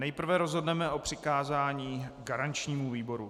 Nejprve rozhodneme o přikázání garančnímu výboru.